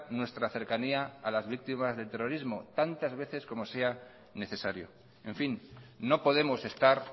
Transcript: nuestra cercanía a las víctimas del terrorismo tantas veces como sea necesario en fin no podemos estar